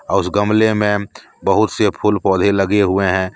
और उस गमले में बहुत से फूल पौधे लगे हुए हैं।